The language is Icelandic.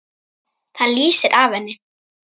Það lýsir af henni.